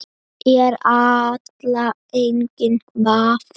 Erla: Enginn vafi?